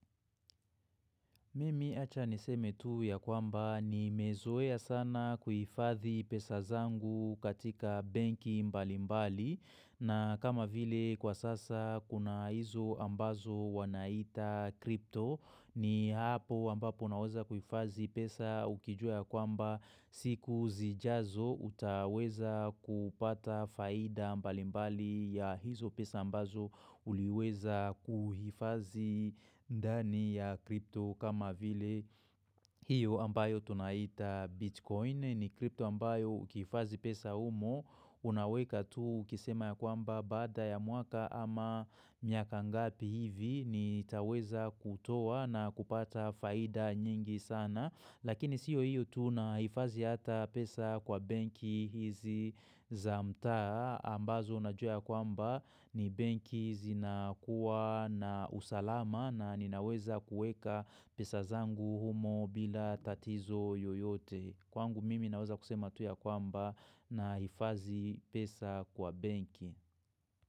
Mimi acha niseme tu ya kwamba ni mezoea sana kuhifadhi pesa zangu katika benki mbalimbali na kama vile kwa sasa kuna hizo ambazo wanaita kripto ni hapo ambapo unaweza kuhifazi pesa ukijua ya kwamba siku zijazo utaweza kupata faida mbalimbali ya hizo pesa ambazo uliweza kuhifazi ndani ya kripto kama vile hiyo ambayo tunaita bitcoin ni kripto ambayo ukiifazi pesa umo unaweka tu ukisema ya kwamba baada ya mwaka ama miaka ngapi hivi nitaweza kutoa na kupata faida nyingi sana lakini sio hiyo tu nahifazi ata pesa kwa benki hizi za mtaa ambazo unajua ya kwamba ni benki zinakua na usalama na ninaweza kuweka pesa zangu humo bila tatizo yoyote. Kwangu mimi naweza kusema tu ya kwamba nahifazi pesa kwa benki.